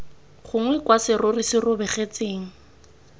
gongwe kwa serori se robegetseng